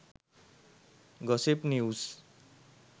gossip news